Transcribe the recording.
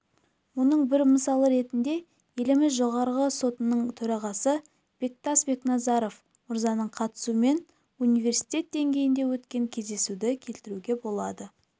мұның бір мысалы ретінде еліміз жоғарғы сотының төрағасы бектас бекназаров мырзаның қатысуымен университет деңгейінде өткен кездесуді келтіруге болады